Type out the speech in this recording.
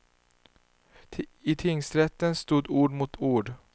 I tingsrätten stod ord mot ord.